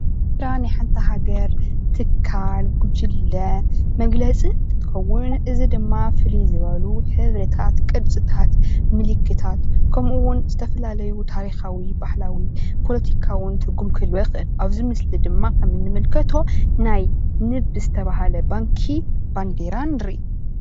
ባንዴራ ማለት ናይ ሓንቲ ሃገር፣ ትካል፣ ጉጅለ መግለፂ እንትኸውን እዚድማ ፍልይ ዝበሉ ሕብርታት፣ ቅርፅታት፣ ምልክታት ከምኡ እውን ዝተፈላለዩ ታሪኻዊ፣ ባህላዊን ፖለቲኻዊ ትርጉም ክህልዎ ይክእል። ኣብዚ ምስሊ ድማ ከም እንምልከቶ ናይ ንብ ዝተብሃለ ባንኪ ባንዴራ ንሪኢ።